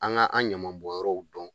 An ka an ɲɛmabɔnyɔrɔw dɔn